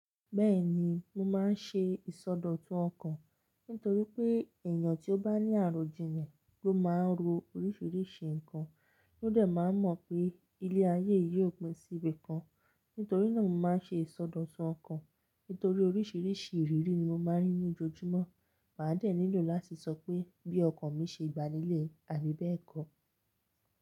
Bẹ́ẹ̀ni, mo máa ń ṣe ìsọdọ̀tun ọkàn. Nítorí pé èèyàn tí ó bá ní àròjinlẹ̀ ló máa ń ro oríṣiríṣi nǹkan, ló dẹ̀ máa mọ̀ pé ilé ayé yìí ò pin sí ibìkan. Nítorí náà mo máa ń ṣe ìsọdọ̀tun ọkàn. Nítorí oríṣiríṣi ìrírí ni mo máa ń rí ní ojojúmọ́. Màá dẹ̀ nílò láti sọ pé bí ọkàn mi ṣe gba nílẹ̀ àbí bẹ́ẹ̀kọ́.